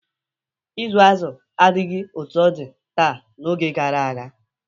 Ịzụ azụ adịghị otu ọ dị taa n'oge gara aga.